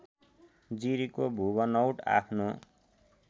जिरीको भूबनौट आफ्नो